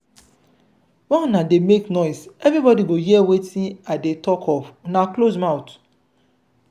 why una dey make noise everybody go hear wetin i dey talk of una close mouth.